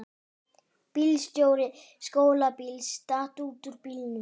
Bílstjóri skólabíls datt út úr bílnum